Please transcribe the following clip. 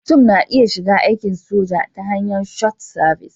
Mutum na iya shiga aikin soja ta hanyar Short Service